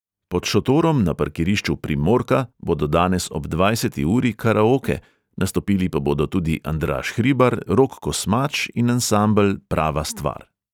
Pod šotorom na parkirišču primorka bodo danes ob dvajseti uri karaoke, nastopili pa bodo tudi andraž hribar, rok kosmač in ansambel prava stvar.